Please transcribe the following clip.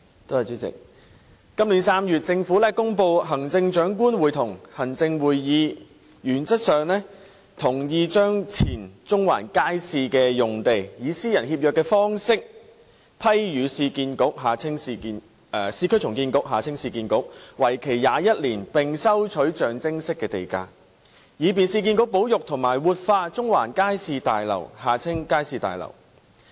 主席，今年3月，政府公布行政長官會同行政會議原則上同意把前中環街市用地，以私人協約方式批予市區重建局，為期21年並收取象徵式地價，以便市建局保育和活化中環街市大樓。